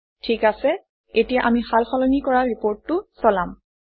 ঠিক আছে এতিয়া আমি সাল সলনি কৰা ৰিপৰ্টটো চলাম